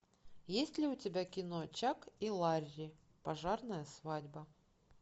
есть ли у тебя кино чак и ларри пожарная свадьба